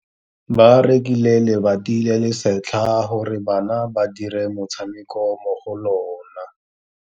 Ba rekile lebati le le setlha gore bana ba dire motshameko mo go lona.